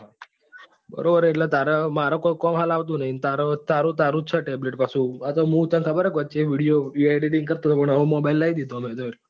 બરોબર એટલે તાર મારે કોઈ કામ હાલ આવતો નથી અને તારો જ છે tablet પાછો અતો મુ છે ખબર વચે video editing કરતો હતો પણ હવે mobile લાવી દીધો.